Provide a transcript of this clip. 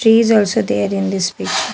Trees is also there in this pic --